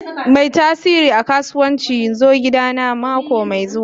Mai tasirin a kasuwanci zo gidana mako mai zuwa.